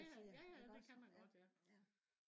ja ja det kan man godt ja